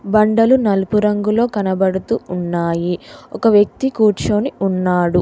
బండలు నలుపు రంగులో కనబడుతూ ఉన్నాయి ఒక వ్యక్తి కూర్చొని ఉన్నాడు.